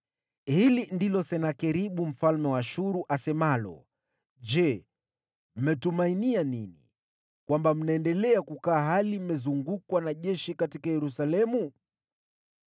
“Hili ndilo asemalo Senakeribu mfalme wa Ashuru: Je, mmeweka tumaini lenu wapi, hata mnaendelea kukaa katika Yerusalemu, hali mmezungukwa na jeshi?